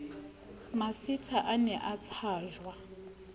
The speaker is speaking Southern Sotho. masitha o ne a tshajwa